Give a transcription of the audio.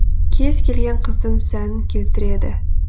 кез келген қыздың сәнін келтіреді